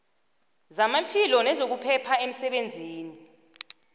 zamaphilo nezokuphepha emsebenzini